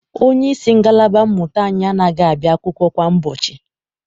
Onyeisi ngalaba mmụta anyị anaghị abịa akwụkwọ kwa ụbọchị.